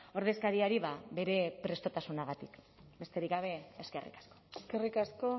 ordezkariari bere prestutasunagatik besterik gabe eskerrik asko eskerrik asko